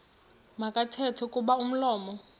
makathethe kuba umlomo